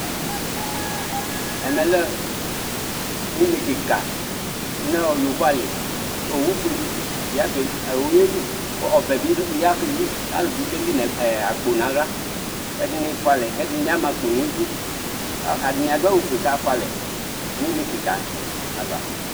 ɛmɛlé ωɲɛkikɑ ɲõyọvoɑli õwũfuƒụɗi yɑkɛli ọwũyɛli ɔbẽbiyɑkǝli ɑlubiyɑ kɛli ɲɑkpó ɲɑhlɑ ɛɗifụɑlɛ kɛɗiɲiɑmɑ ɑkpoɲiɗũ ɛɗɛɲifuɑlé kɑmɑkpo ɲũɗụ ɑtɑɲiɑɗụɑwụ fụɛkɑfụɑlɛ ωɲékikɑvɑ